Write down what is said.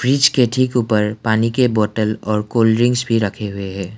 Fridge के ठीक ऊपर पानी के बोतल और कोल्ड ड्रिंक्स भी रखे हुए हैं।